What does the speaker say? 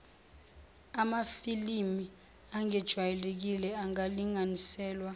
amafilimi angejwayelekile angalinganiselwa